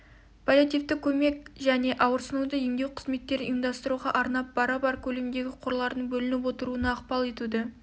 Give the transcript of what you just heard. паллиативтік көмек және ауырсынуды емдеу қызметтерін ұйымдастыруға арнап бара-бар көлемдегі қорлардың бөлініп отыруына ықпал етуді